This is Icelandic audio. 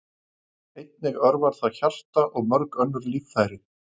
Einnig örvar það hjarta og mörg önnur líffæri.